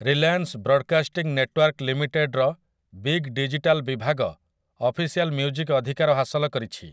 Reliance Broadcasting Network ଲିମିଟେଡ୍‌ର Big Digital ବିଭାଗ official music ଅଧିକାର ହାସଲ କରିଛି ।